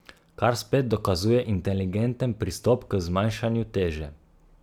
Kar spet dokazuje inteligenten pristop k zmanjšanju teže.